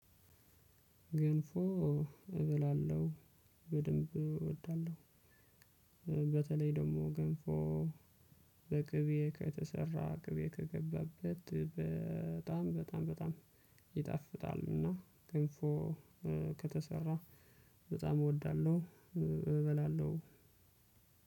ገንፎ እበላለሁ በደንብ እወዳለሁ። በተለይ ደግሞ ገንፎ በቅቤ ከተሰራ ቅቤ ከገባበት በጣም በጣም በጣም ይጣፍጣል። እና ገንፎ ከተሰራ በጣም እወዳለሁ። እበላለሁ